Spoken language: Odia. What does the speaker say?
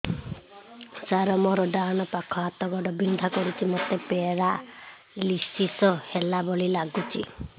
ସାର ମୋର ଡାହାଣ ପାଖ ହାତ ଗୋଡ଼ ବିନ୍ଧା କରୁଛି ମୋତେ ପେରାଲିଶିଶ ହେଲା ଭଳି ଲାଗୁଛି